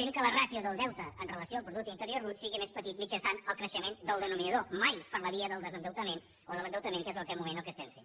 fent que la ràtio del deute en relació amb el producte interior brut sigui més petit mitjançant el creixement del denominador mai per la via del desendeutament o de l’endeutament que és en aquest moment el que estem fent